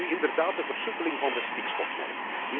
Neem nu inderdaad de versoepeling van de stikstofnorm.